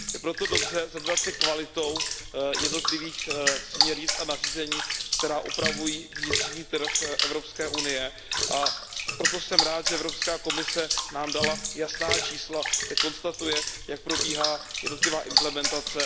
Je proto dobře zabývat se kvalitou jednotlivých směrnic a nařízení, které upravují vnitřních trh EU, a proto jsem rád, že Evropská komise nám dala jasná čísla, kde konstatuje, jak probíhá jednotlivá implementace.